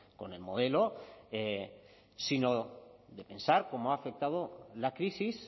con el modelo sino de pensar cómo ha afectado la crisis